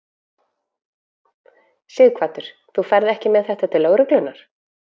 Sighvatur: Þú ferð ekki með þetta til lögreglunnar?